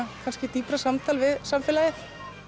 dýpra samtal við samfélagið